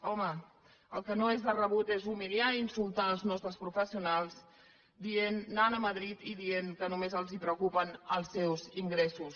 home el que no és de rebut és humiliar i insultar els nostres professionals anant a madrid i dient que només els preocupen els seus ingressos